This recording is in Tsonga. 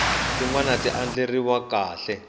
tin wana ti andlariwe kahle